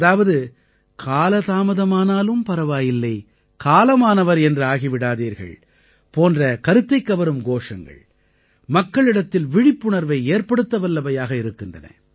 அதாவது கால தாமதமானாலும் பரவாயில்லை காலமானவர் என்று ஆகி விடாதீர்கள் போன்ற கருத்தைக்கவரும் கோஷங்கள் மக்களிடத்தில் விழிப்புணர்வை ஏற்படுத்தவல்லவையாக இருக்கின்றன